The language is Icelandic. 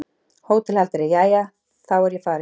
HÓTELHALDARI: Jæja, þá er ég farinn.